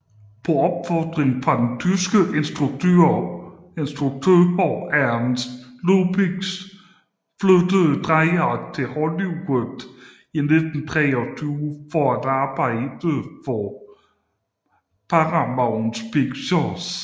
På opfordring fra den tyske instruktør Ernst Lubitsch flyttede Dreier til Hollywood i 1923 for at arbejde for Paramount Pictures